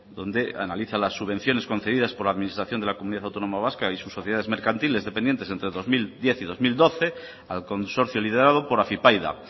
donde analiza las subvenciones concedidas por la administración de la comunidad autónoma vasca y sus sociedades mercantiles dependientes entre dos mil diez y dos mil doce al consorcio liderado por afypaida